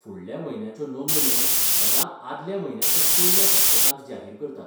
फुडल्या म्हयन्याच्यो नोंदण्यो सदां आदल्या म्हयन्याच्या पयल्या सप्तकांत जाहीर करतात.